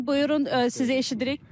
Buyurun, sizi eşidirik.